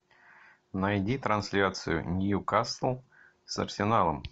найди трансляцию ньюкасл с арсеналом